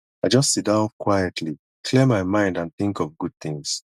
i just sit down quietly clear my mind and think of good things